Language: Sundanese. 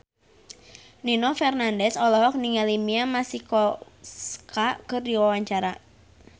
Nino Fernandez olohok ningali Mia Masikowska keur diwawancara